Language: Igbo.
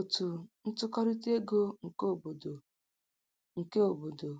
Otu ntụkọrịta ego nke obodo ego nke obodo